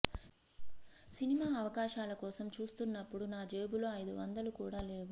cinema అవకాశాల కోసం చూస్తున్నప్పుడు నా జేబులో ఐదు వందలు కూడా లేవు